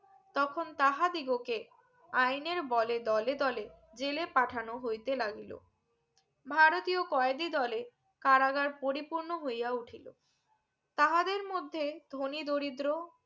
তখন তাঁহা দিগোকে আইনের বলে দলে দলে জেলে পাঠানো হইতে লাগিলো ভারতী কয়েদী দলে কারাগার পরিপূর্ন হইয়া উঠিলো তাহাদের মধ্যে ধনি দরিদ্র